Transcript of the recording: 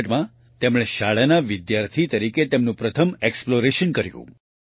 1964માં તેણે શાળાના વિદ્યાર્થી તરીકે તેની પ્રથમ એક્સપ્લોરેશન કર્યું